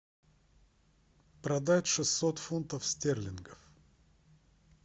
продать шестьсот фунтов стерлингов